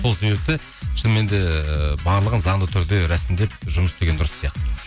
сол себепті шынымен де барлығын заңды түрде рәсімдеп жұмыс істеген дұрыс сияқты